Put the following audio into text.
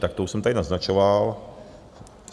Tak to už jsem tady naznačoval.